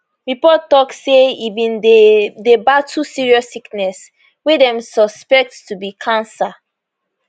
reports tok say e bin dey dey battle serious sickness wey dem suspect to be cancer